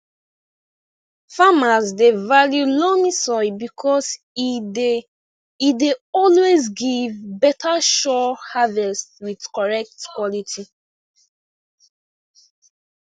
farmers dey value loamy soil because e dey e dey always give beta sure harvest with correct quality